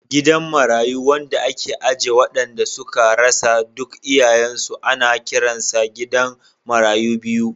Gidan marayu wanda ake aje waɗanda suka rasa duk iyayensu, ana kiransa gidan marayu biyu.